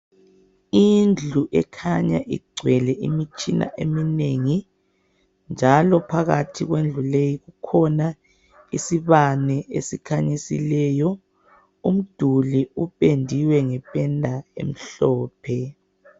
Indlu ekhanya igcwele imitshina eminengi njalo phakathi kwendlu leyi kukhona isibane esikhanyisileyo. Umduli upendiwe ngependa emhlophe.